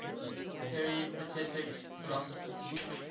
peripatetic philosophers